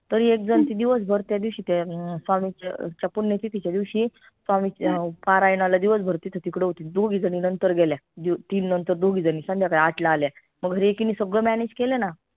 तरी एक झन ती दिवसभर त्या दिवशी ते अं स्वामींच्या पुण्यतिथीच्या दिवशी स्वामींच्या परायणाला दिवसभर तिथं तिकडं होती दोघी झनी नंतर गेल्या तीन नंतर दोघी झनी संध्याकाळी आठला आल्या एकिनी सगळं manage केलं ना